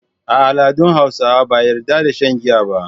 A al’adun Hausawa ba a yarda da shan giya ba.